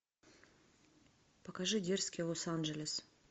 покажи дерзкий лос анджелес